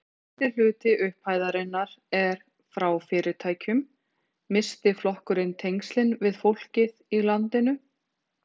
Þorbjörn: En stærsti hluti upphæðarinnar er frá fyrirtækjum, missti flokkurinn tengslin við fólkið í landinu?